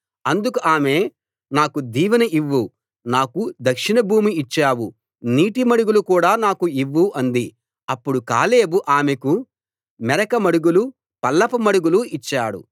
అందుకు ఆమె నాకు దీవెన ఇవ్వు నాకు దక్షిణ భూమి ఇచ్చావు నీటి మడుగులు కూడా నాకు ఇవ్వు అంది అప్పుడు కాలేబు ఆమెకు మెరక మడుగులు పల్లపు మడుగులు ఇచ్చాడు